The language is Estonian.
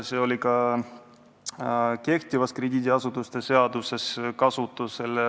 See oli ka kehtivas krediidiasutuste seaduses kasutusel.